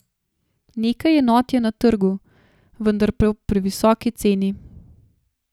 Nekaj enot je na trgu, vendar po previsoki ceni.